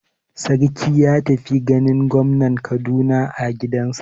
Sarki ya tafi ganin gwamnan Kaduna a gidansa.